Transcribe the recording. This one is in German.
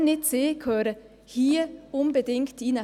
Wer, wenn nicht sie, gehören hier unbedingt hinein?